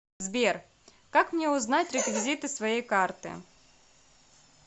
сбер как мне узнать реквизиты своей карты